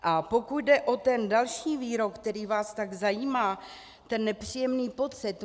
A pokud jde o ten další výrok, který vás tak zajímá, ten nepříjemný pocit.